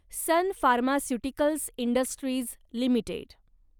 sun pharmaceuticals industries limited